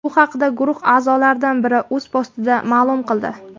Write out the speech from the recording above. Bu haqda guruh a’zolaridan biri o‘z postida ma’lum qildi .